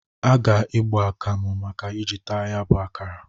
A ga-egbo akamu a ga-e ji taa ya bụ akara.